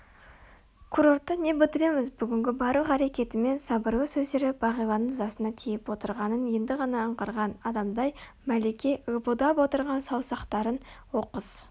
курортта не бітіреміз бүгінгі барлық әрекеті мен сабырлы сөздері бағиланың ызасына тиіп отырғанын енді ғана аңғарған адамдай мәлике лыпылдап отырған саусақтарын оқыс